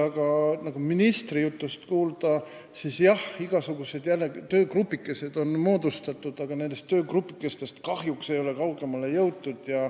Aga nagu ministri jutust kuulda oli, siis on jälle igasugused töögrupikesed moodustatud, aga kahjuks ei ole nendest kaugemale jõutud.